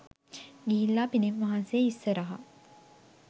ගිහිල්ලා පිළිම වහන්සේ ඉස්සරහා